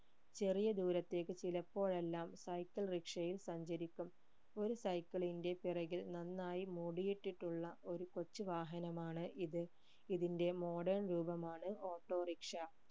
ചെറിയ ദൂരത്തേക്ക് ചിലപ്പോഴെല്ലാം cycle rickshaw യിൽ സഞ്ചരിക്കും ഒരു cycle ന്റെ പിറകിൽ നന്നായി മൂടിയിട്ടിട്ടുള്ള ഒരു കൊച്ചു വാഹനമാണ് ഇത് ഇതിന്റെ modern രൂപമാണ് autorickshaw